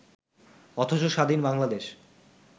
অথচ স্বাধীন বাংলাদেশ